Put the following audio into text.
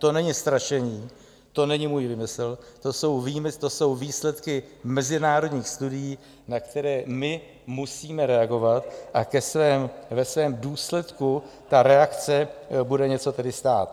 To není strašení, to není můj výmysl, to jsou výsledky mezinárodních studií, na které my musíme reagovat, a ve svém důsledku ta reakce bude něco tedy stát.